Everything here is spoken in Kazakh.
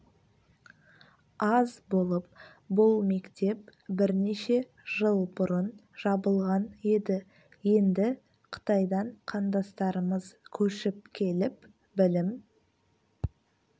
аз болып бұл мектеп бірнеше жыл бұрын жабылған еді енді қытайдан қандастарымыз көшіп келіп білім